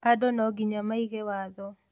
Andũ nongiya maige watho